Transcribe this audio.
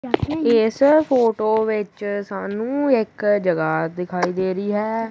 ਇਸ ਫੋਟੋ ਵਿੱਚ ਸਾਨੂੰ ਇੱਕ ਜਗ੍ਹਾ ਦਿਖਾਈ ਦੇ ਰਹੀ ਹੈ।